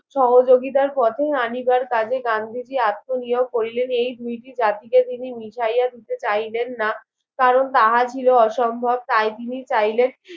সহযোগিতার পথে অনিবার কাজে গান্ধীজি আত্ম নিয়োগ করিলেন এই দুইটি জাতিকে তিনি মিশাইয়া দিতে চাইলেন না কারণ তাহার ছিল অসম্ভব তাই তিনি চাইলেন